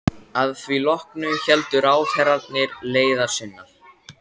Að því loknu héldu ráðherrarnir leiðar sinnar.